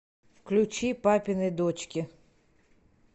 включи папины дочки